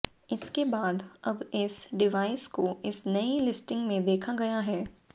इसके बाद अब इस डिवाइस को इस नई लिस्टिंग में देखा गया है